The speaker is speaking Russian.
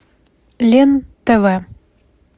лен тв